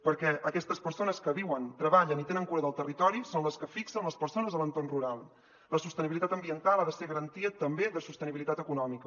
perquè aquestes persones que viuen treballen i tenen cura del territori són les que fixen les persones a l’entorn rural la sostenibilitat ambiental ha de ser garantia també de sostenibilitat econòmica